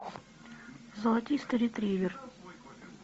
золотистый ретривер